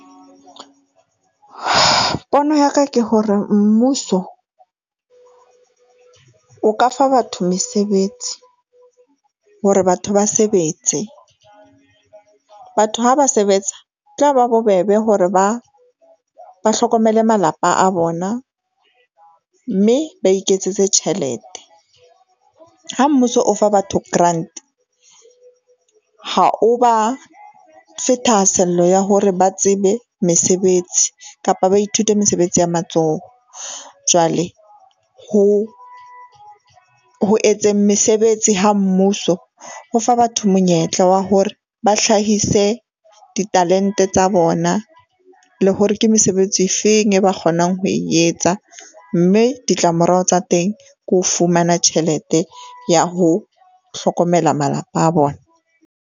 Pono ya ka ke hore mmuso o ka fa batho mesebetsi hore batho ba sebetse. Batho ha ba sebetsa tla ba bobebe hore ba ba hlokomele malapa a bona mme ba iketsetse tjhelete. Ha mmuso o fa batho grant ha o ba fe thahasello ya hore ba tsebe mesebetsi kapa ba ithute mesebetsi ya matsoho. Jwale ho, ho etseng mesebetsi ha mmuso, ho fa batho monyetla wa hore ba hlahise di-talent-e tsa bona le hore ke mesebetsi e feng e ba kgonang ho etsa mme ditlamorao tsa teng ke ho fumana tjhelete ya ho hlokomela malapa a bona.